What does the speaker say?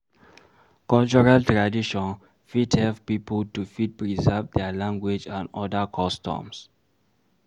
Cultural tradition fit help pipo to fit preserve their language and oda customs